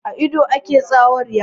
A ido ake tsawurya.